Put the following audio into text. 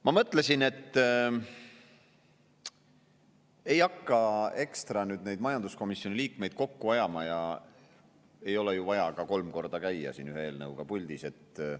Ma mõtlesin, et ei hakka ekstra majanduskomisjoni liikmeid kokku ajama, ei ole ju vaja käia kolm korda ühest eelnõust puldis rääkimas.